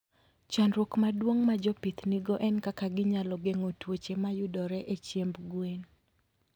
Chandruok maduong' ma jopith nigo en kaka ginyalo geng'o tuoche mayudore e chiemb gwen.